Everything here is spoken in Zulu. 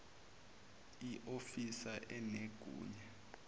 i ofisa enegunya